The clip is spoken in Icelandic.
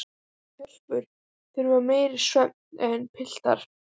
Telpur þurfa meiri svefn en piltar.